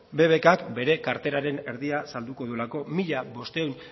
bbk k bere kartelaren erdia salduko duelako mila bostehun